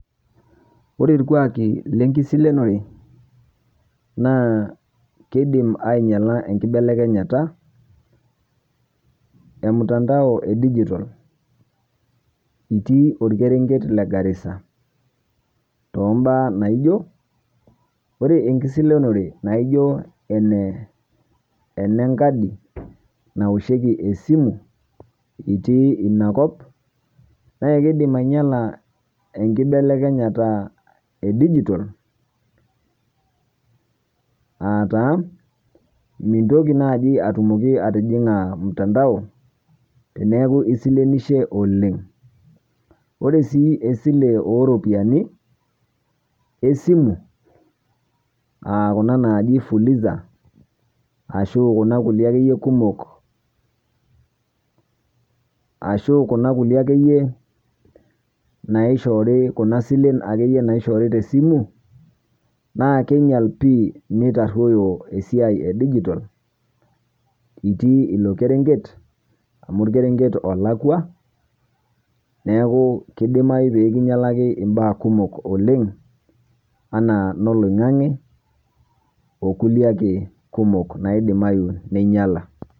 Kore irkwaaki le nkisilonore naa keidiim enyalaa enkibelekenyata e mtandao e dijitol otii olkereng'et le Garissa to baya naijoo ore nkisilonore naijoo ene, ene nkaadi naoshekii esimu itii ena nkop naa keidiim anyalaa enkibelekenyata e dijitol. Aata mintoki najii aitumokii atijing'aa mtandao teneeku isilinishie oleng. Ore sii esilee o ropiani e simu aa kuna najii fuliza ashu kuna nkutii ake iyee kumook, ashu kuna nkulee ake iyee naishoori, kuna sileen ake iyee naishoori te simu naa keinyaal pii neitaroyoo esia e dijitol itii eloo lkereng'et amu lkereng'et olakwaa neeku keidiamayu pii kinyalakii baya kumook oleng ana noloing'ang'i okulee ake kumook naidiimayu neinyaala.